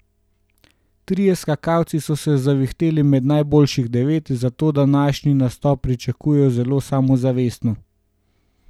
Trije skakalci so se zavihteli med najboljših devet, zato današnji nastop pričakujejo zelo samozavestno.